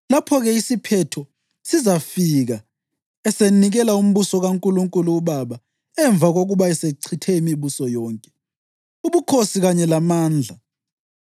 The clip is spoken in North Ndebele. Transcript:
Lapho-ke isiphetho sizafika esenikela umbuso kaNkulunkulu uBaba emva kokuba esechithe imibuso yonke, ubukhosi kanye lamandla.